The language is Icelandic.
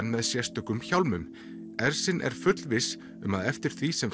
með sérstökum hjálmum ersin er fullviss um að eftir því sem